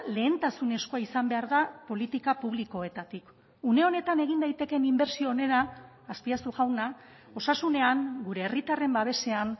lehentasunezkoa izan behar da politika publikoetatik une honetan egin daitekeen inbertsio onena azpiazu jauna osasunean gure herritarren babesean